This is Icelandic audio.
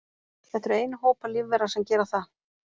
Þetta eru einu hópar lífvera sem gera það.